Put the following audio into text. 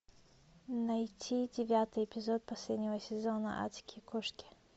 найти девятый эпизод последнего сезона адские кошки